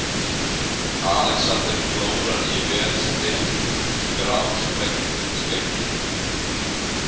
Alexander klórar í vel snyrt, grásprengt skeggið.